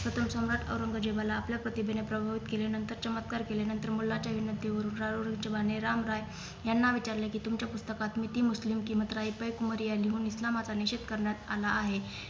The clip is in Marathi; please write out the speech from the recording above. प्रथम सम्राट औरंगजेबाला आपल्या प्रतिभेने प्रभावित केले नतर चमत्कार केले नतर मुलाच्या विनंतीवरून जेबाने राम रॉय यांना विचारले कि तुमच्या पुस्तकात मिती मुस्लिम किमत राय हुन इस्लामाचा निषेध करण्यात आला आहे